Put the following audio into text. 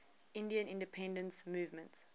indian independence movement